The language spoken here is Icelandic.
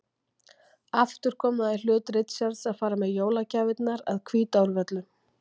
Aftur kom það því í hlut Richards að fara með jólagjafirnar að Hvítárvöllum.